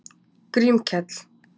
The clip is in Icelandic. Grímkell